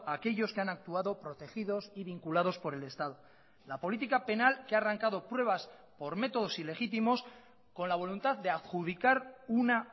a aquellos que han actuado protegidos y vinculados por el estado la política penal que ha arrancado pruebas por métodos ilegítimos con la voluntad de adjudicar una